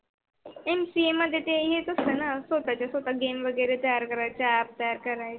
plain मध्ये ते येताच नाही ना game वेगेरे तयार करायच आतल्या आत करायच.